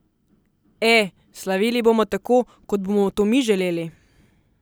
E, slavili bomo tako, kot bomo to mi želeli.